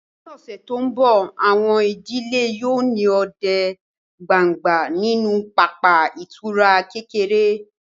Ní ọ̀sẹ̀ tó ń bọ̀, àwọn ìdílé yóò ní òde gbangba nínú pápá ìtura kékeré